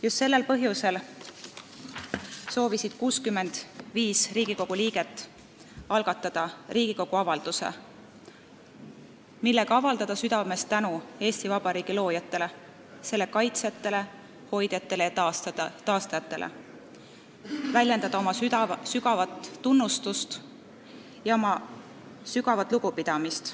" Just sellel põhjusel soovisid 65 Riigikogu liiget algatada Riigikogu avalduse, millega avaldada südamest tänu Eesti Vabariigi loojatele, selle kaitsjatele, hoidjatele ja taastajatele ning väljendada neile inimestele oma sügavat tunnustust ja lugupidamist.